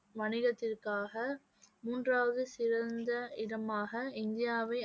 வணிகத்திற்காக மூன்றாவது சிறந்த இடமாக இந்தியாவை